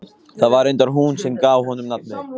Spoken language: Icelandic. Það var reyndar hún sem gaf honum nafnið.